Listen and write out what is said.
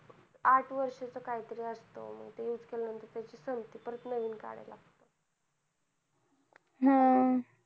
आठ वर्ष च काहीतरी असत ते use केल्या नंतर तेचि संपते परत नवीन काढला लागत हम्म